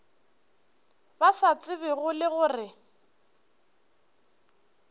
ba sa tsebego le gore